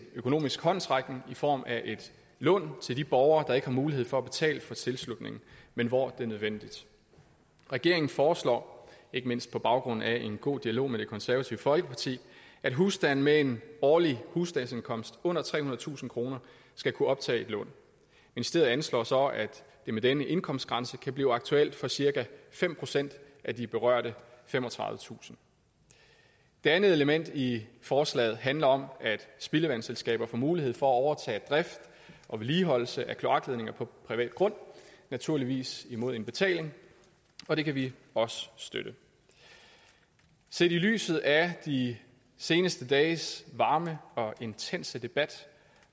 økonomisk håndsrækning i form af et lån til de borgere der ikke har mulighed for at betale for tilslutningen men hvor det er nødvendigt regeringen foreslår ikke mindst på baggrund af en god dialog med det konservative folkeparti at husstande med en årlig husstandsindkomst under trehundredetusind kroner skal kunne optage et lån ministeriet anslår så at det med denne indkomstgrænse kan blive aktuelt for cirka fem procent af de berørte femogtredivetusind det andet element i forslaget handler om at spildevandsselskaber får mulighed for at overtage drift og vedligeholdelse af kloakledninger på privat grund naturligvis imod en betaling og det kan vi også støtte set i lyset af de seneste dages varme og intense debat